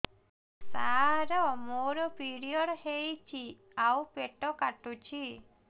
ସାର ମୋର ପିରିଅଡ଼ ହେଇଚି ଆଉ ପେଟ କାଟୁଛି